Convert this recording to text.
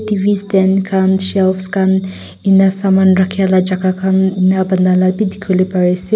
tv stand khan shelves khan indux saman rakhiala jaga khan anelua banala dekhuila parise.